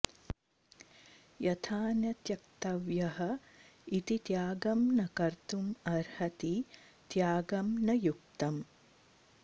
यथा न त्यक्तव्यः इति त्यागं न कर्तुमर्हति त्यागं न युक्तम्